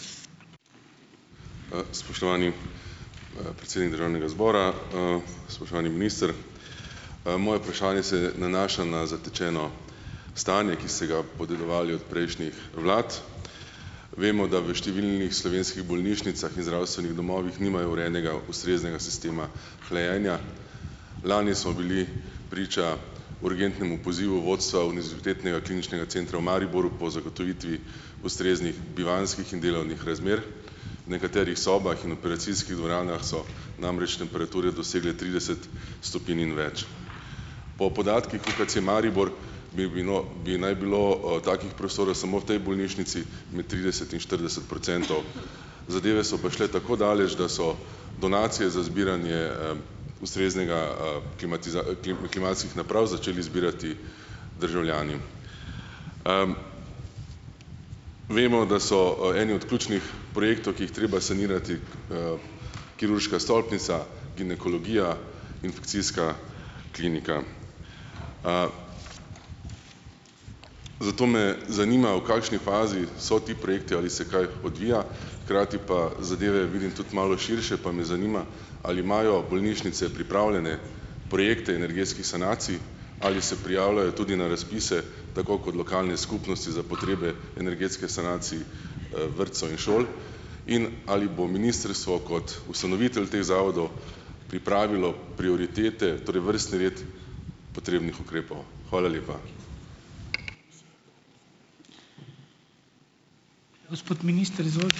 Spoštovani, predsednik državnega zbora! Spoštovani minister! Moje vprašanje se nanaša na zatečeno stanje, ki ste ga podedovali od prejšnjih vlad. Vemo, da v številnih slovenskih bolnišnicah in zdravstvenih domovih nimajo urejenega ustreznega sistema hlajenja. Lani smo bili priča urgentnemu pozivu vodstva Univerzitetnega kliničnega centra v Mariboru po zagotovitvi ustreznih bivanjskih in delovnih razmer. V nekaterih sobah in operacijskih dvoranah so namreč temperature dosegle trideset stopinj in več. Po podatkih UKC Maribor bi bilo bi naj bilo, takih prostorov samo v tej bolnišnici med trideset in štirideset procentov. Zadeve so pa šle tako daleč, da so donacije za zbiranje, ustreznega, klimatskih naprav začeli zbirati državljani. Vemo, da so, eni od ključnih projektov, ki jih treba sanirati, kirurška stolpnica, ginekologija, infekcijska klinika. Zato me zanima, v kakšni fazi so ti projekti? Ali se kaj odvija? Hkrati pa zadeve vidim tudi malo širše. Pa me zanima, ali imajo bolnišnice pripravljene projekte energetskih sanacij? Ali se prijavljajo tudi na razpise, tako kot lokalne skupnosti za potrebe energetskih sanacij, vrtcev in šol? In ali bo ministrstvo kot ustanovitelj teh zavodov pripravilo prioritete, torej vrstni red potrebnih ukrepov? Hvala lepa.